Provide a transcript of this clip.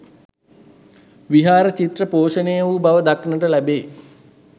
විහාර චිත්‍ර පෝෂණය වූ බව දක්නට ලැබේ.